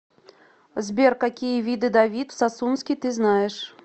сбер какие виды давид сасунский ты знаешь